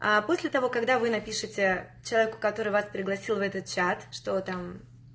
после того когда вы напишите человеку который вас пригласил в этот чат что там